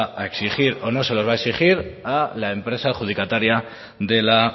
a exigir o no se los va a exigir a la empresa adjudicataria de la